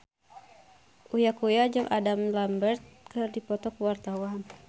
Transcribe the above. Uya Kuya jeung Adam Lambert keur dipoto ku wartawan